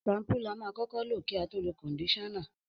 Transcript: Ṣampú la máa kọ́kọ́ lò kí a tó lo kọ̀ndíṣánnà